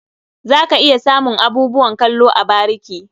Za ka iya samun abubuwan kallo a bariki.